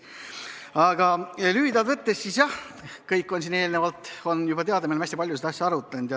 Aga lühidalt võttes jah, kõik on siin eelnevalt juba teada, me oleme hästi palju seda asja arutanud.